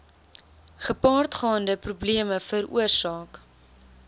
gepaardgaande probleme veroorsaak